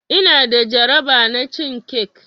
Ina da jaraba na cin cake.